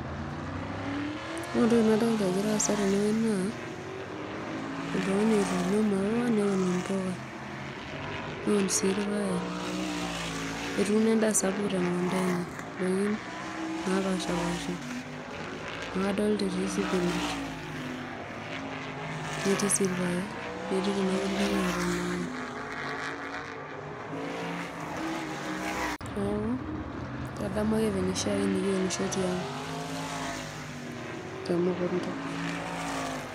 Ore entoki nadolita egira aasa tenewueji naa. oltungani otuuni maua neun mpuka, neun sii irpaek, etuuno endaabsapuk temukunda enye, ndakin napasha paasha amu adolta etii sipinach, netii sii rpaek netii kuna kulie naata ,neaku kadamu vile oshiake nikiunisho tiang temukunda.